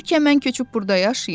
Bəlkə mən köçüb burda yaşayım?